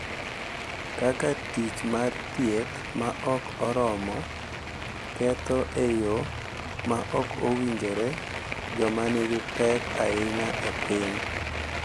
Kaka tich mar thieth ma ok oromo ketho e yo ma ok owinjore joma nigi pek ahinya e piny.